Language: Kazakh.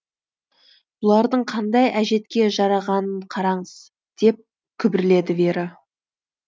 бұлардың қандай әжетке жарағанын қараңыз деп күбірледі вера